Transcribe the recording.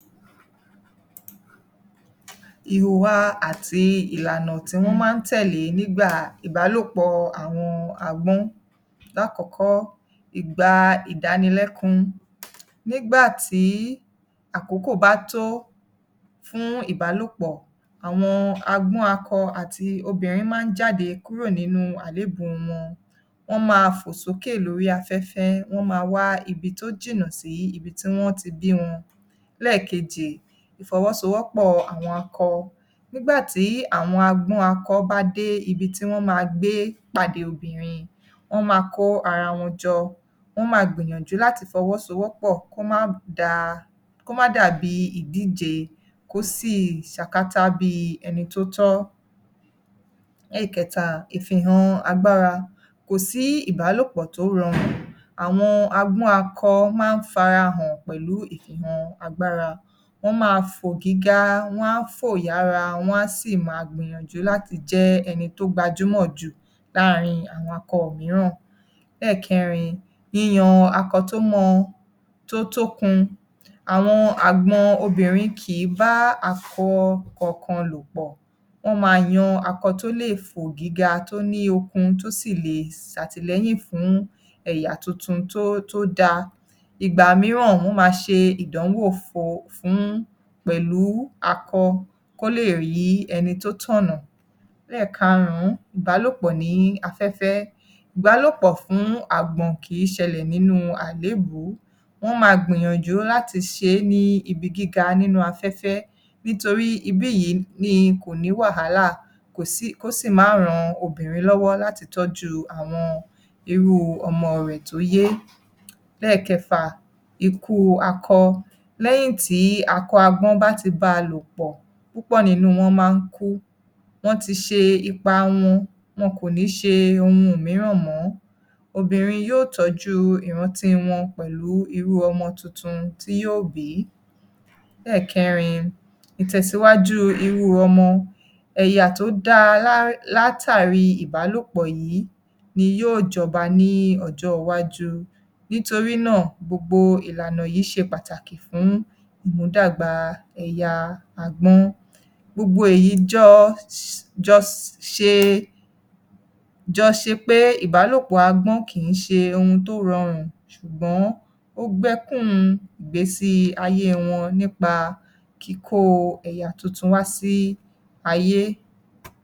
Ìhùwà àti ìlànà tí wọ́n máa ń tẹ̀lé nígbà ìbálòpọ̀ àwọn agbọ́n. Lákọ̀ọ́kọ́, ìgbà ìdánilẹ́kún. Nígbà tí àkókò bá tó fún ìbálòpọ̀, àwọn agbọ́n akọ àti obìnrin máa ń jáde kúrò ní àlébùú wọn. Wọ́n máa fò sókè lórí afẹ́fẹ́, wọ́n máa wá ibi tó jìnnà sí ibi tí wọ́n ti bí wọn. Lẹ́ẹ̀keje, ìfọwọ́sowọ́pọ̀ àwọn akọ. Nígbà tí àwọn agbọ́n akọ bá dé ibi tí wọ́n máa gbé pàdé obìnrin, wọ́n máa kó ara wọn jọ. Wọ́ máa gbìyànjú láti fọwọ́ sowọ́pọ̀ kó má da, kó má dàbí ìdíje, kó sì ṣakátá bíi ẹni tó tọ́. Lẹ́kẹta, ìfihàn agbára. Kò sí ìbálòpọ̀ tó rọrùn. Àwọn agbọ́n akọ máa ń farahàn pẹ̀lú ìfihàn agbára. Wọ́n máa fò gíga, wọ́n á fò yára, wọ́n á sì máa gbìyànjú láti jẹ́ ni tó gbajúmọ̀ jù láàaárín àwọn akọ mìíràn. Lẹ́ẹ̀kẹrin, yíyan akọ tó mọ, tó tókun. Àwọn àgbọn obìnrin kìí bá akọ kankan lò pọ̀. Wọ́n máa yan akọ tó lè fo gíga, tó ní okun, tó sì le ṣàtìlẹ́yìn fún ẹ̀yà tuntun tó, tó dáa. Ìgbà mìíràn, wọ́n máa ṣe ìdánwò fún, pẹ̀lú akọ kó lè rí ẹni tó tọ̀nà. Lẹ́ẹ̀karùn-ún, ìbálòpọ̀ ní afẹ́fẹ́. Ìbálòpọ̀ fún àgbọ̀n kìí ṣẹlẹ̀ nínú àlébùú. Wọ́n máa gbìyànjú láti ṣe é ní ibi gíga nínú afẹ́fẹ́ nítorí ibí yìí ni kò ní wàhálà, kó sì má ran obìnrin lọ́wọ́ láti tọ́jú irú ọmọ rẹ̀ tó yé. Lẹ́ẹ̀kẹfà, ikú akọ. Lẹ́yìn tí akọ agbọ́n bá ti báa lò pọ̀, púpọ̀ nínú wọn máa ń kú. Wọ́n ti ṣe ipa wọn. Wọn kò ní ṣe ohuin mìíràn mọ́. Obìnrin yóò tọ́jú ìrántí wọn pẹ̀lú irú ọmọ tuntun tí yò bí. Lẹ́ẹ̀kẹrin, ìtẹ̀síwájú irú ọmọ. Ẹ̀yà tó dáa látàrí ìbálòpọ̀ yìí ni yóò jọba ní ọjọ́ iwájú. Nítorí náà, gbogbo ìlànà yìí ṣe pàtàkì fún ìmúdàgbà ẹ̀yà agbọ́n. Gbogbo èyí jọ ṣe, jọ ṣe pé ìbálòpọ̀ agọ́n kìí ṣe ohun tó rọrùn ṣùgbọ́n ó gbẹ́kún-un ìgbésí-ayé wọn nípa kíkó ẹ̀yà tuntun wá sí ayé.